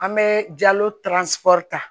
An bɛ ta